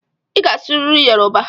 Ị ga-asụrịrị Yoruba!